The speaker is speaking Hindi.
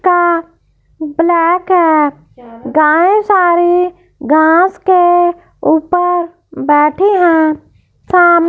का ब्लैक है गाय सारी घास के ऊपर बैठी है साम--